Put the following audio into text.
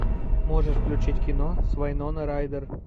можешь включить кино с вайнона райдер